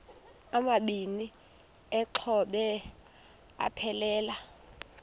amabini exhobe aphelela